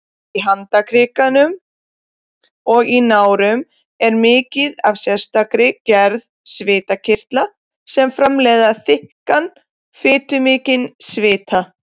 Í handarkrikum og nárum er mikið af sérstakri gerð svitakirtla sem framleiða þykkan, fitumikinn svita.